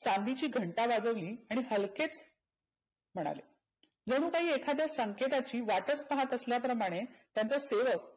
चाविची घंटा वाजवली आणि लगेच म्हणाले जनु काही संकटाची वाटच पहात असल्या प्रमाणे त्यांचा सेवक